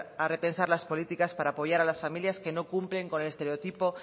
a repensar las políticas para apoyar a las familias que no cumplen con el estereotipo